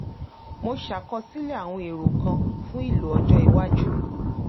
mo ṣàkọsílẹ̀ àwọn èrò kan fún ìlò ọjọ́ iwájú